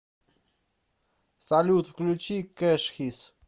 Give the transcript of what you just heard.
салют включи кэшхис